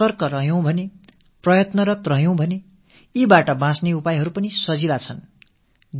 ஆனால் நாம் விழிப்போடு இருந்தால் முனைப்போடு இருந்தால் அவற்றிலிருந்து தப்பும் வழிகளும் சுலபமானவை